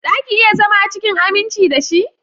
Zaki iya zama cikin aminci dashi?